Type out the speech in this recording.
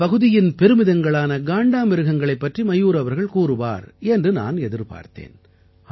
அந்தப் பகுதியின் பெருமிதங்களான காண்டாமிருகங்களைப் பற்றி மயூர் அவர்கள் கூறுவார் என்று நான் எதிர்பார்த்தேன்